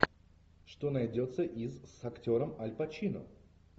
что найдется из с актером аль пачино